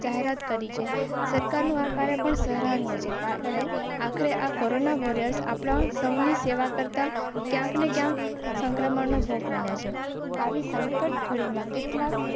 પ્રાત કરી સરકારનું આ કાર્ય પણ સરાહનીય આખરે આ કોરોના વોરિયર્સ આપણા સૌની સેવા કરતા ક્યાં ક્યાં સંક્રમણનો ભોગ બને છે? આવી સંકટ કરો.